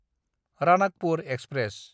Ranakpur express